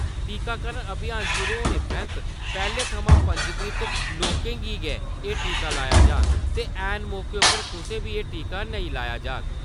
टीकाकरण अभियान शुरू होने परैंत्त पैह्‌ले थमां पंजीकृत लोकें गी गै एह् टीका लाया जाह्ग ते ऐन मौके उप्पर कुसै बी एह् टीका नेईं लाया जाह्ग ।